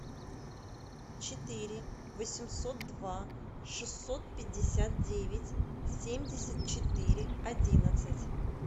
четыре восемьсот два шестьсот пятьдесят девять семьдесят четыре одиннадцать